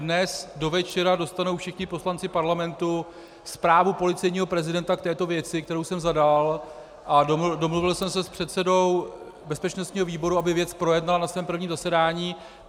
Dnes do večera dostanou všichni poslanci Parlamentu zprávu policejního prezidenta k této věci, kterou jsem zadal, a domluvil jsem se s předsedou bezpečnostního výboru, aby věc projednal na svém prvním zasedání.